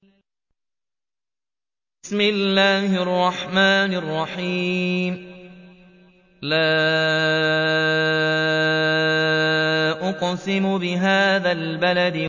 لَا أُقْسِمُ بِهَٰذَا الْبَلَدِ